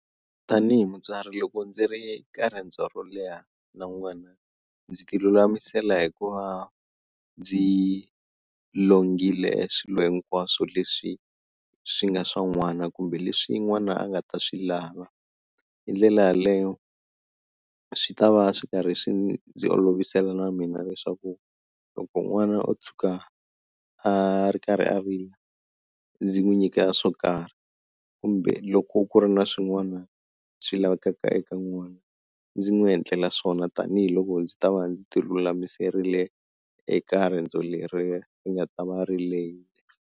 Tanihi mutswari loko ndzi ri ka riendzo ro leha na n'wana ndzi ti lulamisela hi ku va ndzi longhile swilo hinkwaswo leswi swi nga swa n'wana kumbe leswi n'wana a nga ta swi lava hi ndlela yaleyo a swi ta va swi karhi swi ndzi olovisela na mina leswaku loko n'wana o tshuka a ri karhi a rila ndzi n'wi nyika swo karhi kumbe loko ku ri na swin'wana swi lavekaka eka n'wana ndzi n'wi endlela swona tanihiloko ndzi ta va ndzi ti lulamiserile eka riendzo leri ri nga ta va ri lehile.